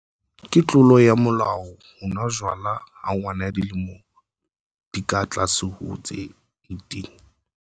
Ke tlolo ya molao ho nwa jwala ha ngwana ya dilemo di ka tlase ho tse 18.